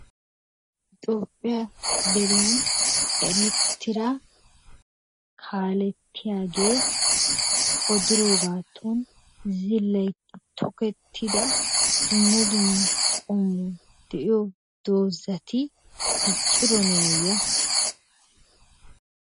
Toophphiya deriyan erettida kaalettiyagee oddiroogaatoon zilaytti tokkettida dumma dumma qoomoy de'iyo doozati dicciroonaye?